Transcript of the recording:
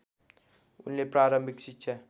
उनले प्रारम्भिक शिक्षा